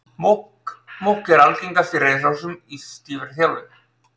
Múkk er algengast í reiðhrossum í stífri þjálfun.